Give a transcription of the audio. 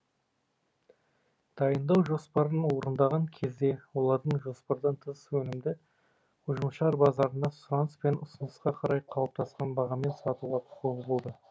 дайындау жоспарын орындаған кезде олардың жоспардан тыс өнімді ұжымшар базарында сұраныс пен ұсынысқа қарай қалыптасқан бағамен сатуға құқығы болды